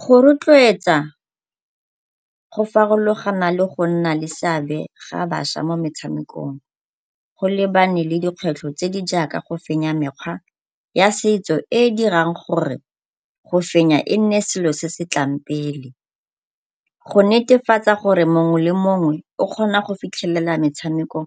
Go rotloetsa go farologana le go nna le seabe ga bašwa mo metshamekong. Go lebane le dikgwetlho tse di jaaka go fenya mekgwa ya setso e e dirang gore go fenya e nne selo se se tlang pele. Go netefatsa gore mongwe le mongwe o kgona go fitlhelela metshameko